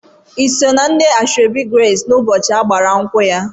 Ị sọ na ndị asoebi Grace n'ụbọchị agbamakwụkwọ ya.